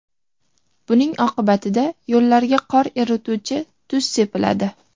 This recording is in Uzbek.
Buning oqibatida yo‘llarga qor erituvchi tuz sepiladi.